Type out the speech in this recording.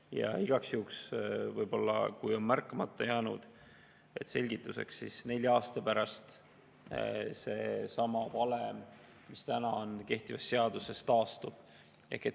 Ja igaks juhuks, kui võib-olla on märkamata jäänud, selgituseks: nelja aasta pärast seesama valem, mis on kehtivas seaduses, taastub.